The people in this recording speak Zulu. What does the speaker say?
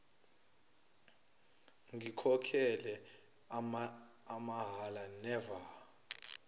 ngikhokhele amahhala never